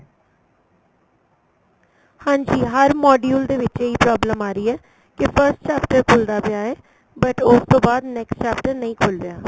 ਹਾਂਜੀ ਹਰ module ਦੇ ਵਿੱਚ ਇਹੀ problem ਆ ਰਹੀ ਏ ਕੀ first chapter ਖੁੱਲਦਾ ਪਿਆ ਏ but ਉਸ ਤੋਂ ਬਾਅਦ next chapter ਨਹੀਂ ਖੁੱਲ ਰਿਹਾ